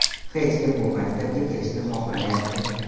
Hech kim bu maktabga kelishni xohlamayapti.